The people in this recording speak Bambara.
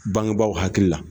Bangebaaw hakili la.